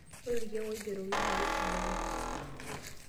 Ore ilkeek oigerokoki naa keisidain.